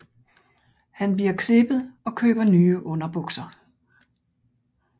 Han bliver klippet og køber nye underbukser